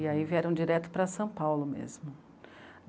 E aí vieram direto para São Paulo mesmo.